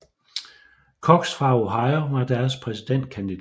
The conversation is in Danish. Cox fra Ohio var deres præsidentkandidat